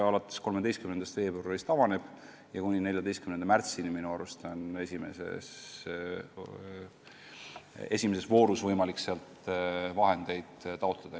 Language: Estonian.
Alates 13. veebruarist kuni 14. märtsini on esimeses voorus võimalik sealt vahendeid taotleda.